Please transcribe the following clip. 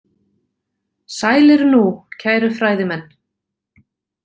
Sælir nú, kæru fræðimenn.